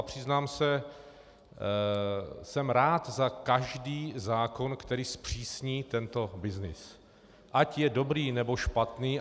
A přiznám se, jsem rád za každý zákon, který zpřísní tento byznys, ať je dobrý, nebo špatný.